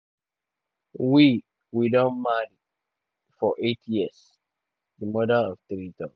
"we "we don marry um for eight years" di mother of three tok.